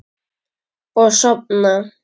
Og sofna.